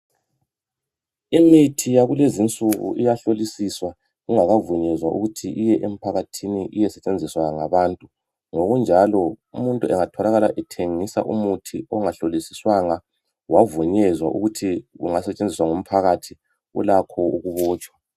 Imithi yakulezinsuku iyahlolisiswa ingakavunyezwa ukuthi iye emphakathini iyesetshenziswa ngabantu. Ngokunjalo umuntu engatholakala ethengisa umuthi ongahlolisiswanga wavunyezwa ukuthi ungasetshenziswa ngumphakathi ulakho ukubotshwa.